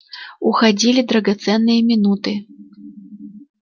уходили драгоценные минуты